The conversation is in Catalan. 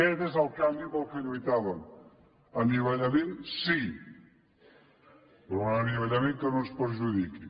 aquest és el canvi per què lluitàvem anivellament sí però un anivellament que no ens perjudiqui